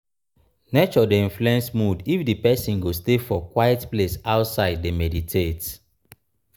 nature de influence mood if di persin go stay for quite place outside de meditate